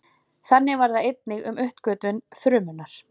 Þannig var það einnig um uppgötvun frumunnar.